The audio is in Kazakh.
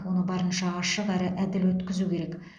оны барынша ашық әрі әділ өткізу керек